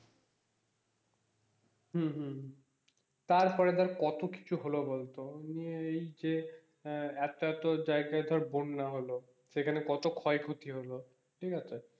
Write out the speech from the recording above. হম হম তারপরে ধরে কত কিছু হলো বলতো এমনি এই আহ একটা তো জায়গায় তো বন্যা হলো সেখানে কোটো ক্ষয়ক্ষতি হলো ঠিক আছে,